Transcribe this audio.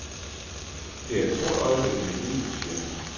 Det er et stort øjeblik i mit liv, siger han.